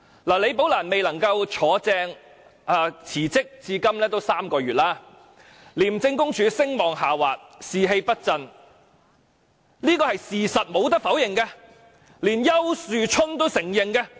李寶蘭未能順利晉升並辭職至今已有3個月，廉署聲望下滑，士氣不振，這是無可否認的事實，連丘樹春都承認。